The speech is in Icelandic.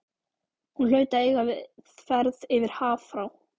Hún hlaut að eiga við ferð yfir haf frá